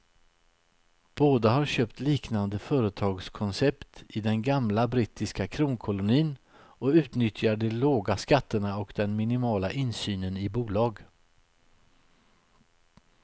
Båda har köpt liknande företagskoncept i den gamla brittiska kronkolonin och utnyttjar de låga skatterna och den minimala insynen i bolag.